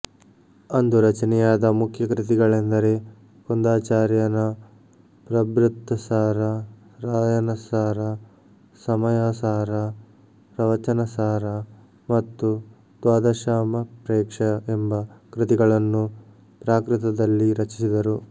ಅಂದು ರಚನೆಯಾದ ಮುಖ್ಯ ಕೃತಿಗಳೆಂದರೆ ಕುಂದಾಚಾರ್ಯನ ಪ್ರಬೃತ್ತಸಾರ ರಾಯನಸಾರ ಸಮಯಸಾರ ಪ್ರವಚನಸಾರ ಮತ್ತು ದ್ವಾದಶಾಮಪ್ರೇಕ್ಷ ಎಂಬ ಕೃತಿಗಳನ್ನು ಪ್ರಾಕೃತದಲ್ಲಿ ರಚಿಸಿದರು